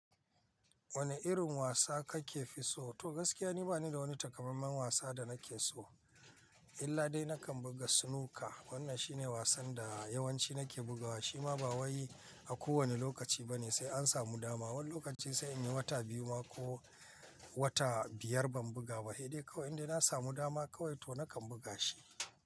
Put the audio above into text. Wane irin wasa kake fi so? To gaskiya ni bani da wani takamaiman wasa da nake so, illa dai nakan buga snooker wannan shine wasan da yawanci nake bugawa shima ba wai a kowane lokaci bane sai an samu dama. Wani lokaci sai in yi wata biyu ma ko wata biyar ban buga ba he dai inda na samu dama kawai to nakan buga shi.